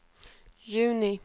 juni